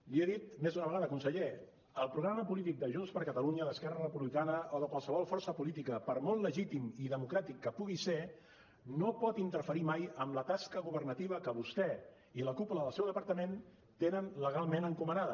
l’hi he dit més d’una vegada conseller el programa polític de junts per catalunya d’esquerra republicana o de qualsevol força política per molt legítim i democràtic que pugui ser no pot interferir mai en la tasca governativa que vostè i la cúpula del seu departament tenen legalment encomanada